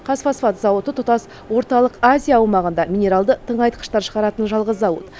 қазфосфат зауыты тұтас орталық азия аумағында минералды тыңайтқыштар шығаратын жалғыз зауыт